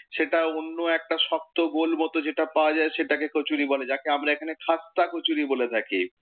সেটা অন্য একটা শক্ত গোল মত যেটা পাওয়া যায় সেটাকে কচুরি বলে, যাকে আমরা এখানে খাস্তা কচুরি বলে থাকি।